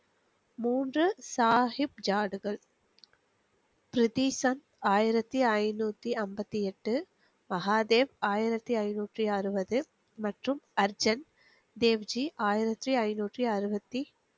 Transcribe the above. மூன்று சாஹிப் ஜாடுகள் பிரிதிசன் ஆயிரத்தி ஐநூத்தி அம்பத்தி எட்டு மஹாதேவ் ஆயிரத்தி ஐநூத்தி அறுவது மற்றும் அர்ஜன் தேவ்ஜி ஆயிரத்தி ஐநூத்தி அருவத்தி.